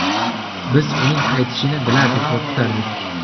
Biz uning qaytishini bilardik va kutardik.